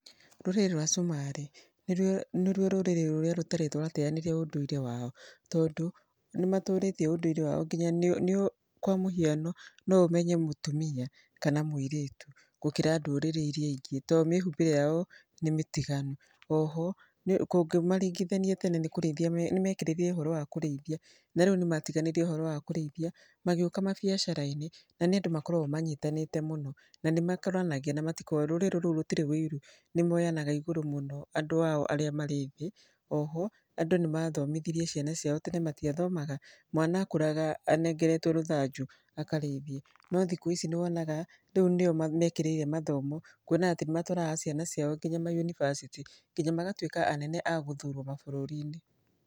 Rũrĩrĩ rwa Cumarĩ nĩruo rũrĩrĩ rũrĩa rũtarĩ rwateyanĩria ũndũire wao tondũ nĩ matũrĩtie ũndũire wao nginya kwa mũhiano, no ũmenye mũtumia kana mũirĩtu gũkĩra ndũrĩrĩ irĩa ingĩ tondũ mĩhumbĩre yao nĩ mĩtiganu. Oho ũngĩmaringithania tene nĩ kũrĩithia nĩ mekĩrĩire ũhoro wa kũrĩithia na rĩu nĩ matiganire na ũhoro wa kũrĩithia magĩũka mabiacara-inĩ. Na nĩ andũ makoragwo manyitanĩte mũno na nĩmakũranagia na matikoragwo rũrĩrĩ rũu rũtirĩ ũiru. Nĩ moyanaga igũrũ mũno andũ ao arĩa marĩ thĩ. Oho andũ nĩ mathomithirie ciana ciao tene matiathomaga. Mwana akũraga anengeretwo rũthanju akarĩithie, no thikũ ici nĩ wonaga nĩo mekĩrĩire mathomo. Kuona atĩ nĩ matũaraga ciana ciao nginya ma yunibacĩtĩ nginya magatuĩka anene agũthurwo mabũrũri-inĩ.